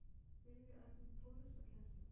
Vilja efla tónlistarkennslu